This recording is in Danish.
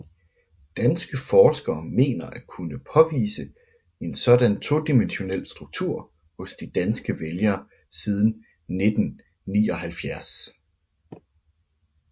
Danske forskere mener at kunne påvise en sådan todimensionel struktur hos de danske vælgere siden 1979